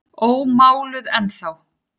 Ómáluð ennþá.